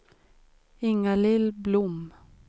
Inga-Lill Blom